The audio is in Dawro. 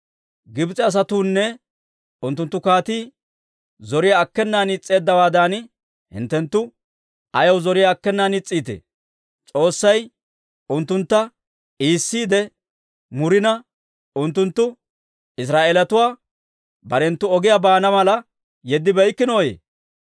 Gibs'e asatuunne unttunttu kaatii zoriyaa akkenan is's'eeddawaadan, hinttenttu ayaw zoriyaa akkenan is's'iitee? S'oossay unttuntta iissiide murina, unttunttu Israa'eelatuwaa barenttu ogiyaa baana mala yeddibeykkinoyye?